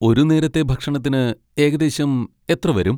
ഒരു നേരത്തെ ഭക്ഷണത്തിന് ഏകദേശം എത്ര വരും?